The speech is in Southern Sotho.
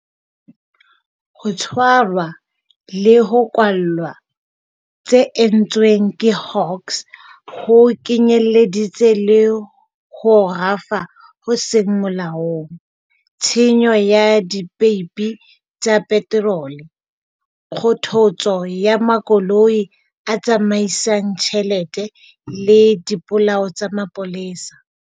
Ho tshwarwa le ho kwallwa tse entsweng ke Hawks ho kenyeleditse le ho rafa ho seng molaong, tshenyo ya dipeipi tsa peterole, kgothotso ya makoloi a tsamaisang tjhelete le dipolao tsa mapolesa.